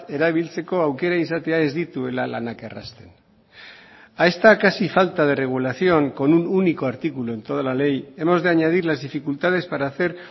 erabiltzeko aukera izatea ez dituela lanak errazten a esta casi falta de regulación con un único artículo en toda la ley hemos de añadir las dificultades para hacer